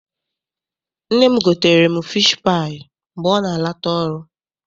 Nne m gotere m fishi paayị mgbe ọ na-ala ta ọrụ.